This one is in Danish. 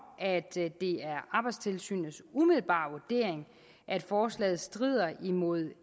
at det er arbejdstilsynets umiddelbare vurdering at forslaget strider mod